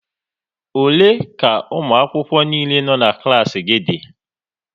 Ole ka ụmụakwụkwọ niile no̼ na klaasị gị dị?